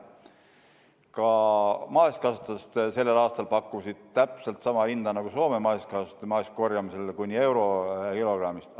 Ka meie maasikakasvatajad pakkusid sellel aastal täpselt sama hinda nagu Soome maasikakasvatajad marjakorjamisel – kuni euro kilogrammist.